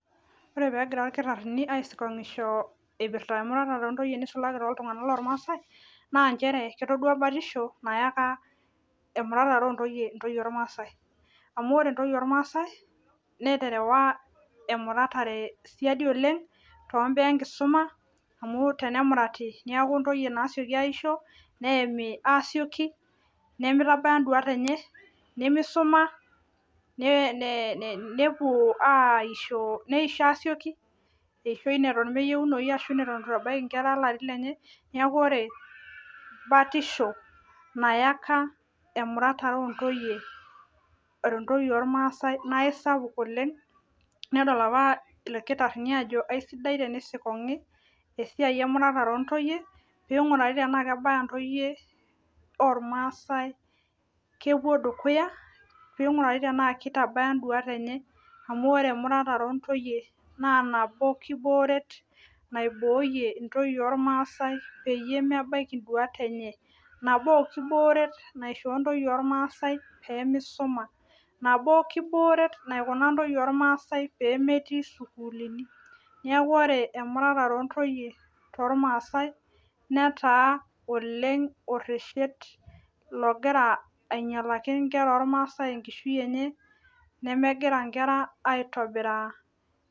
Ore peegira ilkitarini aisikonkisho eipirta emuratare oontoyie neisulaki tootunganak loomaasai naa njere ketodua batisho nayaka emuratare oontoyie intoyie olmaasai. Amu ore intoyie olmaasai, neterewa emuratare siadi oleng' tombaa enkishuma amu tenemurati neeku intoyie naaseki aisho, neemi aasioki nemeitabaya induat enye, nemeisuma, neisho asioki eishoi neton meyiounoyu neton eitu itabaya intoyie ilarin lenye. Neeku ore batisho nayaka emuratare oontoyie olmaasai naaisapuk oleng' nedol apa ilkitarini ajo aisidai tenisikonki esiai emuratare oontoyie peeinkurari tenaa kebaya intoyie olmaasai kepuo dukuya, peeinkurari tenaa kitabaya induat enye, amu ore emuratare oontoyie naa nabo kibooret naibooyie intoyie olmaasai mebaiki induuat enye, nabo kibooret naishoo intoyie olmaasai peemisuma, nabo kibooret naikuna intoyie olmaasai pee metii sukuulini. Neeku ore emuratare oontoyie too maasai netaa oleng' oreshet logira anyialaki inkera olmaasai enkishui enye nemegira inkera aitobiraa.